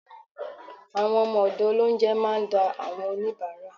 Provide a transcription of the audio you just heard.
Àwọn ọmọ ọ̀dọ̀ Ọlọhunjẹ máa ń dá àwọn oníbárà